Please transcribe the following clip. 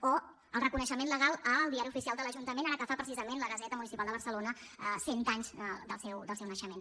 o el reconeixement legal del diari oficial de l’ajuntament ara que fa precisament la gaseta municipal de barcelona cent anys del seu naixement